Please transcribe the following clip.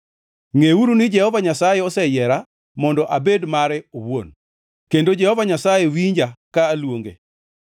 Ngʼeuru ni Jehova Nyasaye oseyiera mondo abed mare owuon; kendo Jehova Nyasaye winja, ka aluonge.